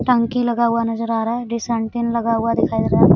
टंकी लगा हुआ नजर आ रहा है डिश एंटीनालगा हुआ दिखाई दे रहा है।